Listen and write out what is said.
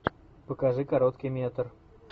покажи короткий метр